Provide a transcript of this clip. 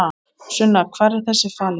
Sunna: Hvar var þessi falinn?